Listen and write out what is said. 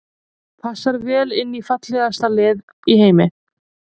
Passar vel inn í fallegasta lið í heimi.